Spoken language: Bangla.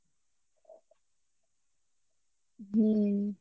হম